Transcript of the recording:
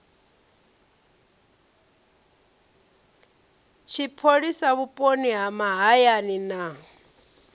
tshipholisa vhuponi ha mahayani na